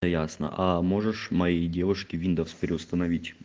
ясно а можешь моей девушки виндовс переустановить